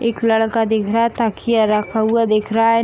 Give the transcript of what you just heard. एक लड़का देख रहा है तकिया रखा हुआ दिख रहा है।